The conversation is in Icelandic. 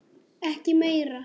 Ekki meira.